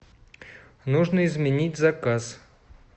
нужно изменить заказ